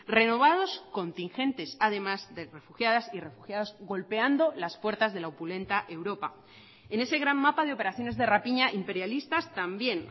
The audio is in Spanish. renovados contingentes además de refugiadas y refugiados golpeando las puertas de la opulenta europa en ese gran mapa de operaciones de rapiña imperialistas también